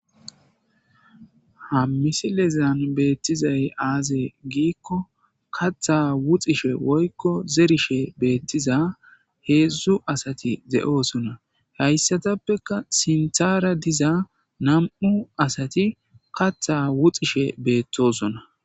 ha misilezan beettizay aaze giikko katha wuxishe woykko zerishe beettiza heedzdzu asati de'oosona hayssatappeka sinthara diza nam'u asati katha wuxishe beettosona